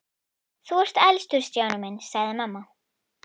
Þú ert elstur Stjáni minn sagði mamma.